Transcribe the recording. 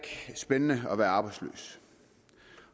spændende at være arbejdsløs